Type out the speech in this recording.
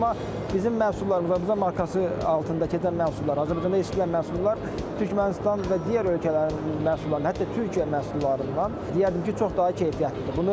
Amma bizim məhsullarımız və bizim markası altında keçən məhsullar, Azərbaycanda istehsal olunan məhsullar Türkmənistan və digər ölkələrin məhsullarından, hətta Türkiyə məhsullarından deyərdim ki, çox-çox daha keyfiyyətlidir.